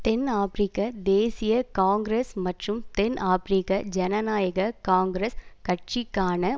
தென் ஆபிரிக்க தேசிய காங்கிரஸ் மற்றும் தென் ஆபிரிக்க ஜனநாயக காங்கிரஸ் கட்சிக்கான